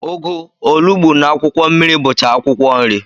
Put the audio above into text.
Ụgụ, olugbu, na akwụkwọ mmiri bucha akwụkwọ nri.